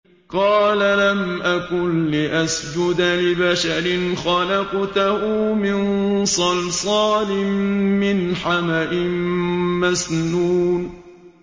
قَالَ لَمْ أَكُن لِّأَسْجُدَ لِبَشَرٍ خَلَقْتَهُ مِن صَلْصَالٍ مِّنْ حَمَإٍ مَّسْنُونٍ